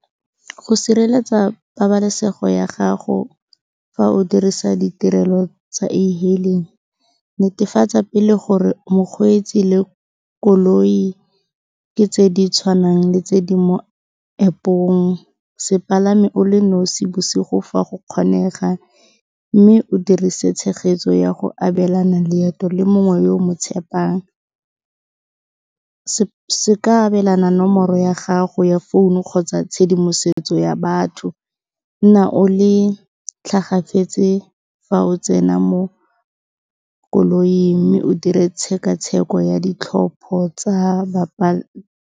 Go sireletsa pabalesego ya gago fa o dirisa ditirelo tsa e-hailing, netefatsa pele gore mokgweetsi le koloi ke tse di tshwanang le tse di mo App-ong se palame o le nosi bosigo fa go kgonega, mme o dirise tshegetso ya go abelana leeto le mongwe yo o mo tshepang. Se ka abelana nomoro ya gago ya founu kgotsa tshedimosetso ya batho, nna o le tlhagafetse fa o tsena mo koloing mme o dire tshekatsheko ya ditlhopho tsa .